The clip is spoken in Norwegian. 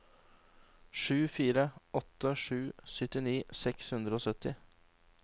sju fire åtte sju syttini seks hundre og sytti